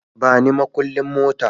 Bani makullin mota